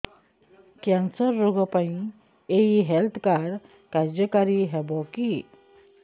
cancer ରୋଗ ପାଇଁ ଏଇ ହେଲ୍ଥ କାର୍ଡ କାର୍ଯ୍ୟକାରି ହେବ କି